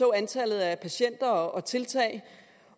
antallet af patienter og tiltag